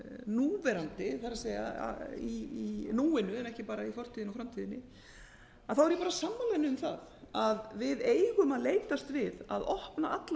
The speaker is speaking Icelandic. núverandi það er í núinu en ekki bara í fortíðinni og framtíðinni þá er ég bara sammála henni um það að við eigum að leitast við að opna alla